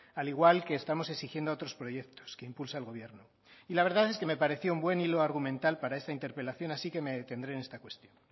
al igual que estamos exigiendo a otros proyectos que impulsa el gobierno y la verdad es que me pareció un buen hilo argumental para esta interpelación así que me detendré en esta cuestión